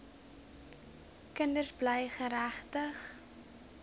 kinders bly geregtig